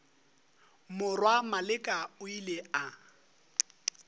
morwa maleka o ile a